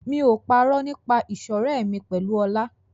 Mi ò parọ́ nípa ìṣọ̀rẹ́ mi pẹ̀lú Ọlá.